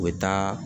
U bɛ taa